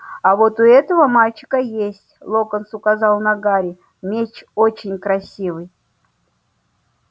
а вот у этого мальчика есть локонс указал на гарри меч очень красивый